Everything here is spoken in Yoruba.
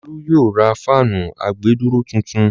Olú yóò ra fáànù àgbèdúró tuntun.